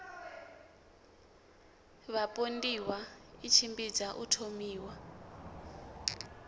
vhapondiwa i tshimbidza u thomiwa